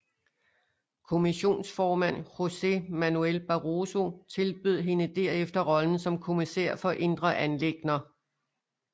Kommissionsformand José Manuel Barroso tilbød hende derefter rollen som kommissær for indre anliggender